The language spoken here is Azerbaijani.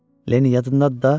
Lenni, yadındadır da?